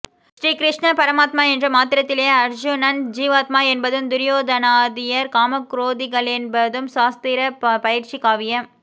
ஸ்ரீ கிருஷ்ணன் பரமாத்மா என்ற மாத்திரத்திலே அர்ஜுனன் ஜீவாத்மா என்பதும் துரியோதனாதியர் காமக் குரோதிகளென்பதும் சாஸ்திரப் பயிற்சியும் காவியப்